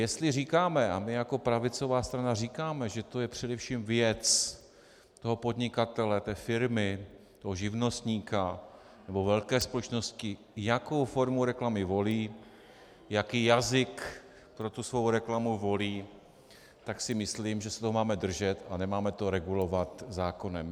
Jestli říkáme, a my jako pravicová strana říkáme, že to je především věc toho podnikatele, té firmy, toho živnostníka nebo velké společnosti, jakou formu reklamy volí, jaký jazyk pro tu svou reklamu volí, tak si myslím, že se toho máme držet a nemáme to regulovat zákonem.